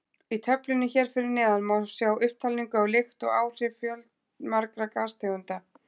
Í töflunni hér fyrir neðan má sjá upptalningu á lykt og áhrif fjölmargra gastegunda.